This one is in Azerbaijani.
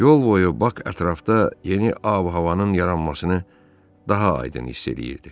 Yol boyu bak ətrafda yeni avanın yaranmasını daha aydın hiss eləyirdi.